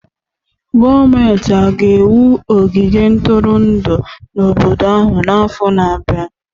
Gọọmenti hà ga-ewu ogige ntụrụndụ n'obodo ahụ n'afọ na-abịa?